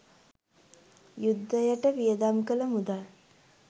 යුද්ධයට වියදම් කළ මුදල්